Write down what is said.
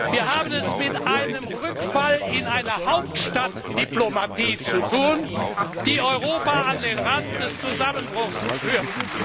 Wir haben es mit einem Rückfall in eine Hauptstadtdiplomatie zu tun, die Europa an den Rand des Zusammenbruchs führt.